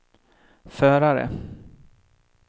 förare